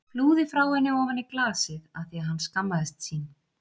Flúði frá henni ofan í glasið af því að hann skammaðist sín.